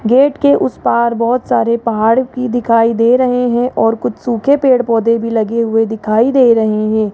Gate के उस पार बहुत सारे पहाड़ दिखाई दे रहे हैं और कुछ सूखे पेड़-पौधे भी लगे हुए दिखाई दे रहे हैं।